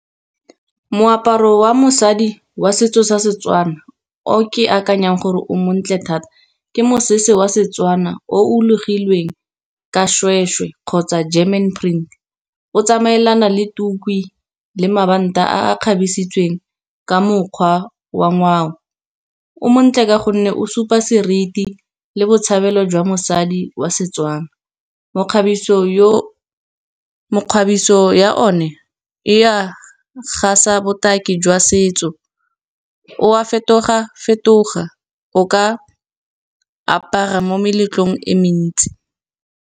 Moaparo wa mosadi wa setso sa Setswana o ke akanyang gore o montle thata, ke mosese wa Setswana o logilweng ka seshweshwe kgotsa German print. O tsamaelana le tuku le mabanta a kgabesitsweng ka mokgwa wa ngwao, o montle ka gonne o supa seriti le botshabelo jwa mosadi wa Setswana. Mekgabiso ya one e ya ga sa botaki jwa setso o wa fetoga-fetoga o ka apara mo meletlong e mentsi.